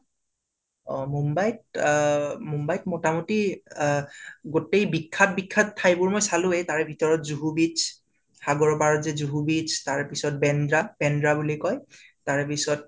অ মুম্বাইত অ মুম্বাইত মোটামুটি আ গোটেই বিখ্যাত বিখ্যাত ঠাইবোৰ মই চালোৱেই। তাৰে ভিতৰত জুহু beach সাগৰৰ পাৰত যে জুহু beach, তাৰ পিছত বেন্দ্ৰা বান্দ্ৰা বুলি কয়। তাৰে পিছত